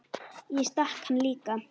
Ég stakk hann líka.